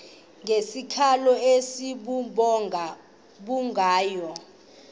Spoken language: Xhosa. ngesikhalo esibubhonga bukhonya